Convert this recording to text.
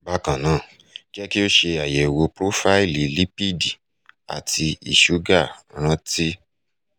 bákan náà jẹ́ kí o ṣe ayẹ̀wò profaílì lipidi àti iṣúgà ràntí